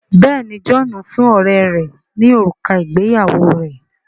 Béèni John fún ọrẹ rè ní òrùka ìgbéyàwó rẹ.